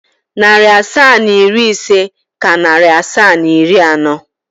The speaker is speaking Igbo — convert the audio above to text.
Narị asaa na iri ise ka narị asaa na iri anọ.